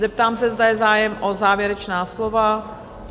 Zeptám se, zda je zájem o závěrečná slova?